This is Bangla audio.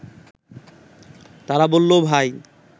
তারা বলল ভাই